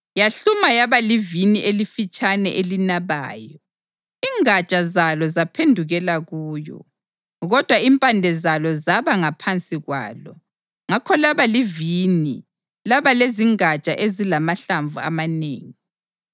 yahluma yaba livini elifitshane elinabayo. Ingatsha zalo zaphendukela kuyo, kodwa impande zalo zaba ngaphansi kwalo. Ngakho laba livini laba lezingatsha ezilamahlamvu amanengi.